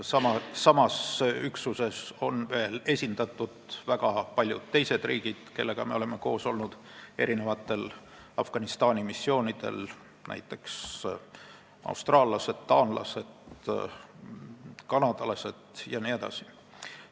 Samas üksuses on veel esindatud väga paljude teiste riikide kaitseväelased, kellega me oleme koos olnud erinevatel Afganistani missioonidel, näiteks austraallased, taanlased, kanadalased jne.